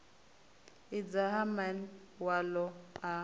adzwa ha man walo a